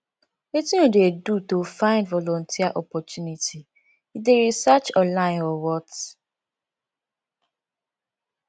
wetin you dey do to find volunteer opportunity you dey research online or what